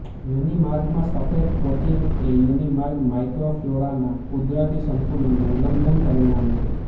યોનિમાર્ગમાં સફેદ કોટિંગ એ યોનિમાર્ગ માઇક્રોફલોરાના કુદરતી સંતુલનનું ઉલ્લંઘનનું પરિણામ છે